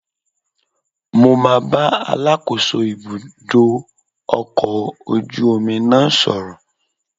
Mo máa bá Alákóso ibùdó ọkọ̀ ojú omi náà sọ̀rọ̀